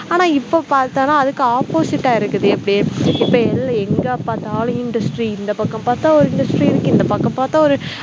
ஆனா இப்ப பார்த்தனா அதுக்கு opposite ஆ இருக்குது எப்படி இப்ப எல் எங்க பார்த்தாலும் industry இந்த பக்கம் பார்த்தா ஒரு industry இருக்கு இந்த பக்கம் பார்த்தா ஒரு